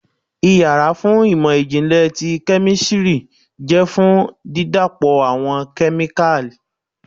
ìyára fún imọ-jinlẹ tí kemistri jẹ fun dídapọ awọn kemíkalí.